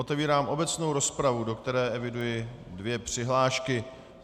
Otevírám obecnou rozpravu, do které eviduji dvě přihlášky.